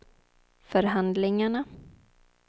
förhandlingarna